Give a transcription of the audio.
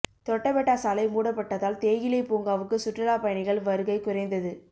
தொட்டபெட்டா சாலை மூடப்பட்டதால் தேயிலை பூங்காவுக்கு சுற்றுலா பயணிகள் வருகை குறைந்தது